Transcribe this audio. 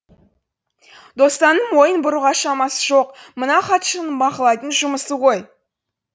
досанның мойын бұруға шамасы жоқ мына хатшының бақылайтын жұмысы ғой